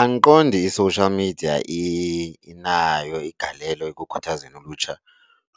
Andiqondi i-social media inayo igalelo ekukhuthazeni ulutsha